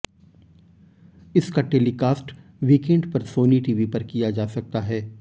इसका telecast weekend पर Sony TV पर किया जा सकता है